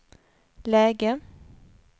läge